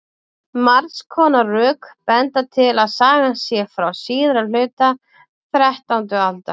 margs konar rök benda til að sagan sé frá síðari hluta þrettándu aldar